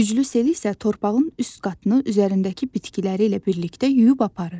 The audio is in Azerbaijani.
Güclü sel isə torpağın üst qatını üzərindəki bitkiləri ilə birlikdə yuyub aparır.